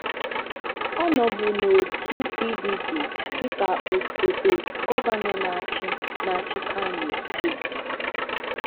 Ọ nọ̀bù n’òtù PDP dịka osòtè gọvanọ na-achị na-achị Kano Steeti.